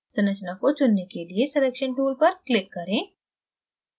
संरचना को चुनने के लिए selection tool पर click करें